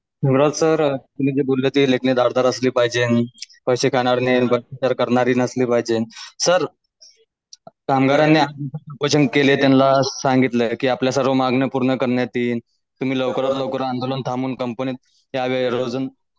देवराज sir तुम्ही जे बोललेत की लेखणी धारदार असली पाहिज आणि करणारी नसली पाहजे सर कामगारांनी केले त्यांना सांगतील की आपलं सर्व मागणं पुर्न करण्यात येईल तुम्ही लवकरात लवकर अन्दोलन थांबून कम्पनीत .